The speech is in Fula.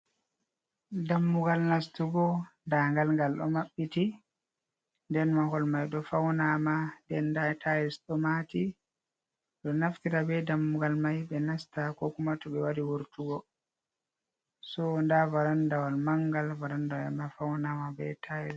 Dammugal nastugo. Nda ngal ngal ɗo maɓɓiti, nden mahol mai ɗo faunaama, nden dai tayls ɗo maati. Ɗum naftira be dammugal mai ɓe nasta ko kuma to ɓe wari wurtugo, so nda varandawal mangal, varandawal man faunaama be tayls.